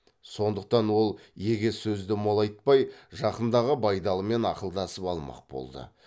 сондықтан ол егес сөзді молайтпай жақындағы байдалымен ақылдасып алмақ болды